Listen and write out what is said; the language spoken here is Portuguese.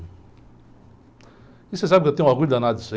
E você sabe que eu tenho orgulho danado disso aí.